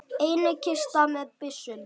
Einnig kista með byssum.